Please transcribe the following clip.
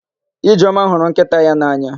Ijeọma hụrụ nkịta ya n'anya.